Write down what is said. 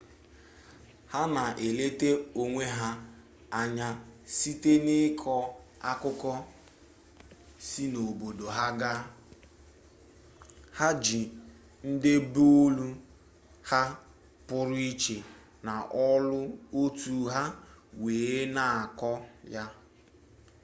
ha na-eleta onwe ha anya site n'ịkọ akụkọ si n'obodo ha ga ha ji ndebeolu ha pụrụ iche na olu otu ha wee na-akọ ya